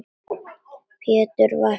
Pétur var fastur fyrir.